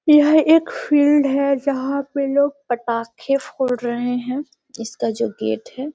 यह एक फील्ड है जहाँ पे लोग पटाखे फोड़ रहे हैं। इसका जो गेट है --